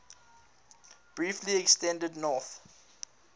briefly extended north